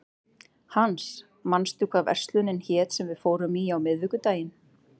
Hans, manstu hvað verslunin hét sem við fórum í á miðvikudaginn?